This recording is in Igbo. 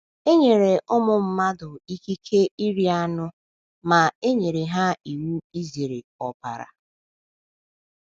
E nyere ụmụ mmadụ ikike iri anụ ma e nyere ha iwu izere ọbara.